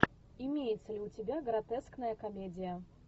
имеется ли у тебя гротескная комедия